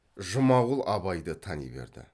жұмағұл абайды тани берді